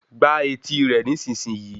Gbá etì i rẹ̀ nísìsiyìí